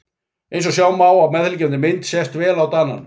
Eins og sjá má á meðfylgjandi mynd sést vel á Dananum.